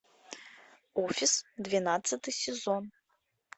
офис двенадцатый сезон